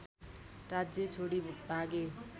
राज्य छोडी भागे